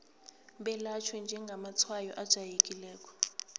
belatjhwe njengamatshwayo ajayelekileko